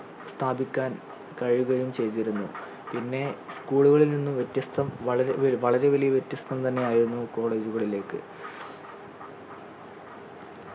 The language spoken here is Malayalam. സ്ഥാപിക്കാൻ കഴിയുകയും ചെയ്തിരുന്നു പിന്നെ school കളിൽ നിന്ന് വ്യത്യസ്തം വളരെ ഏർ വളരെ വലിയ വ്യത്യസ്തം തന്നെ അയിരുന്നു college കളിലേക്